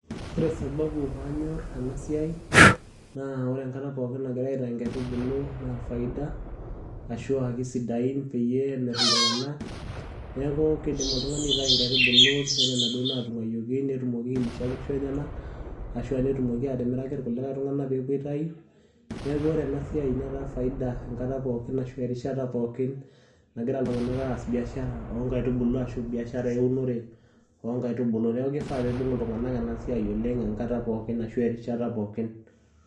Wore sababu paanyor enasiai naa wore enkata pookin nagira aitayu inkaitubulu naa faida ashua kisidain peyie emir iltunganak. Niaku kidim oltungani nitayu inkaitubulu wore naduo natunguayoki netumoki ailisha inkishu enyenak ashua netumoki atimiraki irkulikai tunganak peepuo aitayu Niaku wore enasiai netaa faida enkata pookin ashu erishata pookin nagira iltunganak aas biashara oongaitubulu ashua biashara eunore oongaitubulu. Niaku kifaa pee ibung iltunganak enasiai oleng enkata pookin ashu erishata pookin.